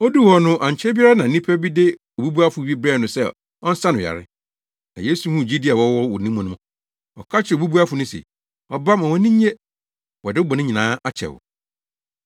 Oduu hɔ no, ankyɛ biara na nnipa bi de obubuafo bi brɛɛ no sɛ ɔnsa no yare. Na Yesu huu gyidi a wɔwɔ wɔ ne mu no, ɔka kyerɛɛ obubuafo no se, “Ɔba, ma wʼani nnye, wɔde wo bɔne nyinaa akyɛ wo.”